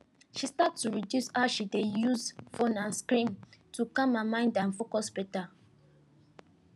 she start to reduce how she dey use phone and screen to calm her mind and focus better